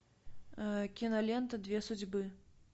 кинолента две судьбы